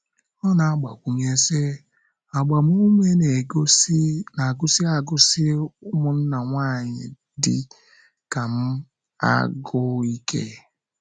Ọ na - agbakwụnye sị: “ Agbamume na - agụsi agụsi ụmụnna nwanyị dị ka m agụụ ike. ”